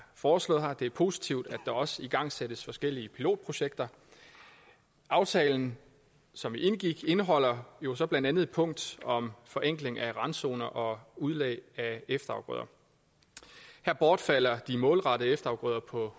foreslået her det er positivt at der også igangsættes forskellige pilotprojekter aftalen som vi indgik indeholder jo så blandt andet et punkt om forenkling af randzoner og udlægning af efterafgrøder her bortfalder de målrettede efterafgrøder på